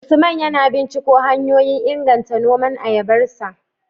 Usman yana binciko hanyoyin inganta noman ayabarsa